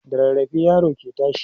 da rarrafe yaro ke tashi